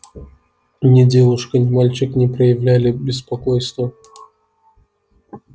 ни девушка ни мальчик не проявляли беспокойства